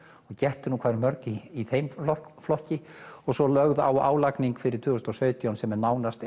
og gettu hvað eru mörg í þeim flokki og svo lögð á álagning fyrir árið tvö þúsund og sautján sem er nánast